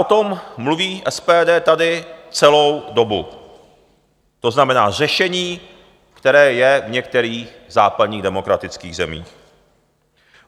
O tom mluví SPD tady celou dobu, to znamená, řešení, které je v některých západních demokratických zemích.